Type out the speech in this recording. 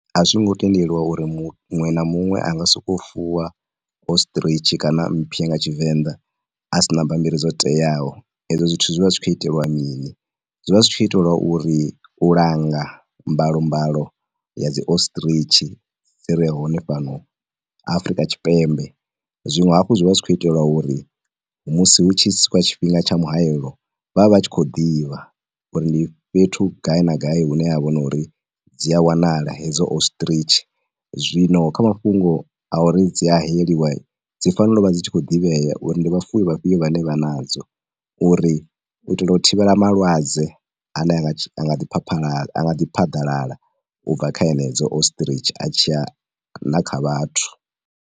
A zwo ngo tendelwa uri muṅwe na muṅwe anga soko fuwa ostritch kana mphwe nga Tshivenḓa asina bammbiri dzo teaho, e zwo zwithu zwi vha zwi tshi khou iteliwa mini, zwi vha zwi tshi khou iteliwa uri u langa mbalo mbalo ya dzi ostritch ire hone fhano Afrika Tshipemebe. Zwiṅwe hafho zwi vha zwi tshi khou iteliwa uri musi hu tshi swika tshifhinga tsha muhayelo vha vhe vha tshi khou ḓivha uri ndi fhethu gai na gai hu ne ha vha no uri dzi a wanala hedzo ostritch. Zwino kha mafhungo a uri dzi a hayeliwa, dzi fanela u vha dzi tshi khou ḓivhea uri ndi vhafuwi vha fhiyo vhane vha nadzo, uri u itela u thivhela malwadze a ne a nga tshi, a nga ḓi khwakhwala, anga di phaḓalala u bva kha henedzo ostritch a tshiya na kha vhathu.